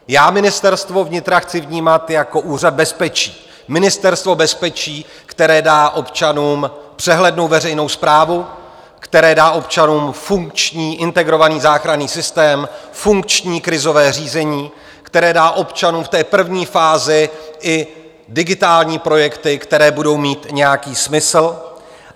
Já Ministerstvo vnitra chci vnímat jako úřad bezpečí, ministerstvo bezpečí, které dá občanům přehlednou veřejnou správu, které dá občanům funkční integrovaný záchranný systém, funkční krizové řízení, které dá občanům v té první fázi i digitální projekty, které budou mít nějaký smysl.